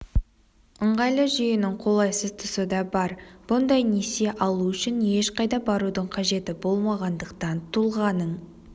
ыңғайлы жүйенің қолайсыз тұсы да бар бұндай несие алу үшін ешқайда барудың қажеті болмағандықтан тұлғаның